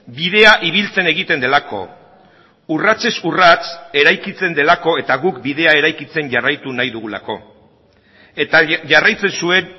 bidea ibiltzen egiten delako urratsez urrats eraikitzen delako eta guk bidea eraikitzen jarraitu nahi dugulako eta jarraitzen zuen